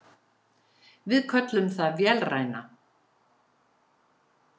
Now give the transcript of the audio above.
Við köllum það vélræna.